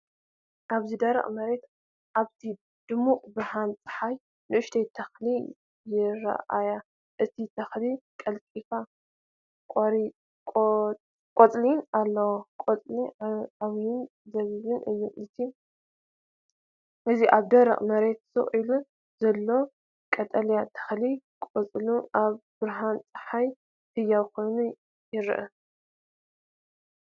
ኣብዚ ደረቕ መሬት ኣብቲ ድሙቕ ብርሃን ጸሓይ ንእሽቶ ተኽሊ ይራኣያ። እቲ ተኽሊ ቀጠልያ ቆጽሊ ኣለዎ፣ ቆጽሉ ዓበይትን ጸቢብን እዩ። እዚ ኣብ ደረቕ መሬት ስቕ ኢሉ ዘሎ ቀጠልያ ተኽሊ፡ ቆጽሉ ኣብ ብርሃን ጸሓይ ህያው ኮይኑ ይረአ።